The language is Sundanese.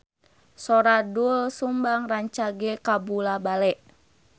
Sora Doel Sumbang rancage kabula-bale